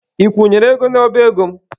Ị kwụnyere ego n'ọba ego m?